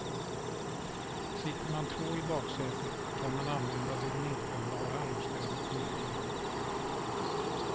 Sitter man två i baksätet kan man använda det nedfällbara armstödet i mitten.